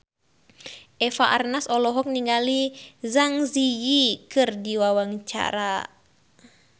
Eva Arnaz olohok ningali Zang Zi Yi keur diwawancara